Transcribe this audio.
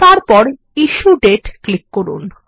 এবং তারপর ইশ্যু দাতে ক্লিক করুন